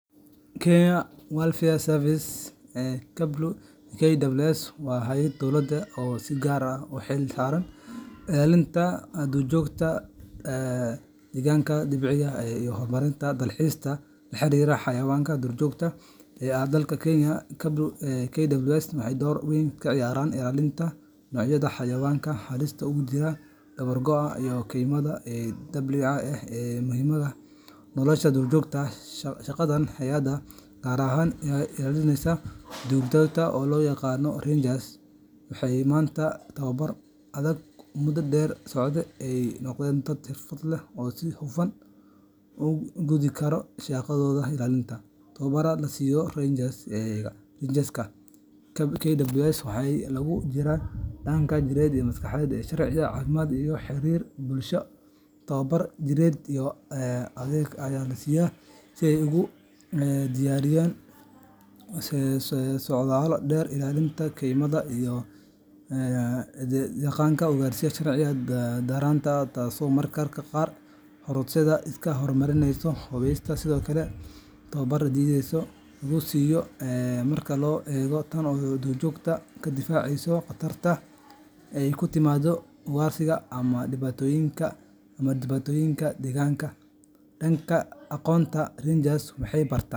Kenya wildlifeservice wa hayada dowalda si kaar aah u xeelsaran ilalinta duurjokta ee deganka decbiya iyo dalxista waxay ilalinayan xawayanga duurjokta dalka keenya kwa waxay ddor muhim kaciyaran ilalinta nocyada xawayanga halista dawargoaah iyo dableeyda ee muhimatha nolosha duurjokta eeh shaqada heeyadan kaar ahaan ilalineysah oo loyaqanoh rangers waxa tobar muda dheer socday oo sihufan shaqathotha ugu kothikaroh waxa ilalinta tobarat lassiyoh oo rangers ka waxalokujirah dahanka gereet iyo sharcika cafimad iyo xarir bulsho towabaro jireet Aya lasiiyah setha ugu deyariyan socmada dheer iyo daqanka ugaryasha taaso marka qaar iska hormarineysoh sethokali towbara detheysoh marka lo eegoh durjogtah kadifaceysoh duurjokta qatartan ee ay kuyimadoh u garsika amah dibatoyinga amah deganka denka agoonta.